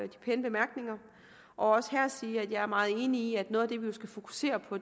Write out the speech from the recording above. pæne bemærkninger og også her sige at jeg er meget enig i at noget af det vi jo skal fokusere på